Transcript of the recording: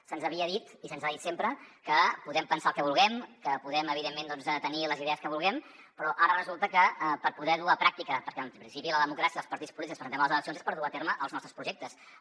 se’ns havia dit i se’ns ha dit sempre que podem pensar el que vulguem que podem evidentment tenir les idees que vulguem però ara resulta que per poder ho dur a la pràctica perquè en principi a la democràcia els partits polítics que ens presentem a les eleccions és per dur a terme els nostres projectes